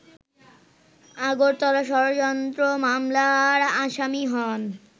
আগরতলা ষড়যন্ত্র মামলার আসামি হন